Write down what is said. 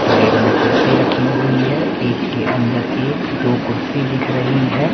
Side में कुर्सी रखी हुई है। एक के अंदर एक दो कुर्सी दिख रही है।